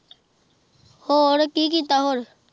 ਹੋਰ ਕੀ ਕੀਤਾ ਹੋਰ।